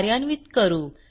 कार्यान्वित करू